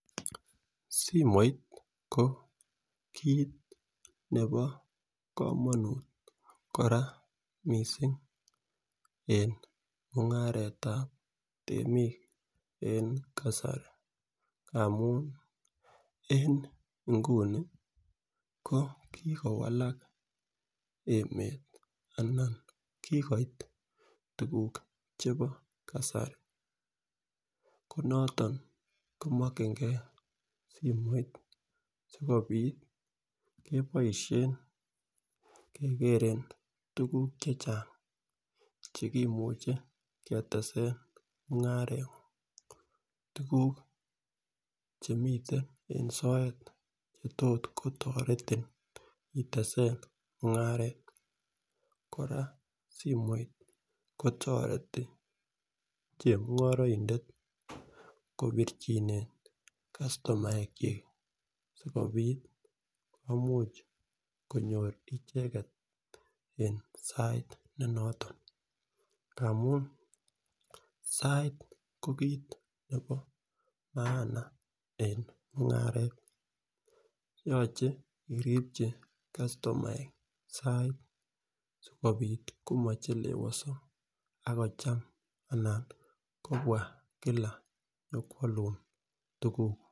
Simoit ko kit nebo komonut koraa missing en mungaretab temik en kasari amun en inguni ko kikowalak emet anan kikoit tukuk chebo kasari ko noton komokingee simoit sikopit keboishen kegeeren tukuk chechang chekimuche ketsen mungarengung kou tukuk chemiten en sobet chetot kotoreti itesen mungaret. Koraa simoit kotoreti chemungoroidet kopirchinen kastomaek chik sikopit komuche konyor icheket en sait ne noton amun sait ko kit nebo maana en mungaret yoche iripchi kastomaek sait sikopit komochelewoso ak kocham anan kobwa Kila nyokwolun tukuk.